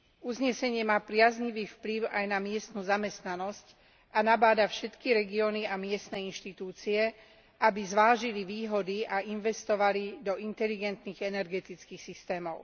Uznesenie má priaznivý vplyv aj na miestnu zamestnanosť a nabáda všetky regióny a miestne inštitúcie, aby zvážili výhody a investovali do inteligentných energetických systémov.